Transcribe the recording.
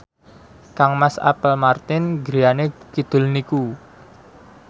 kangmas Apple Martin griyane kidul niku